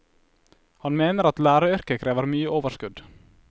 Han mener at læreryrket krever mye overskudd.